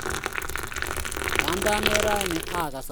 Kanda nget rain akas amoini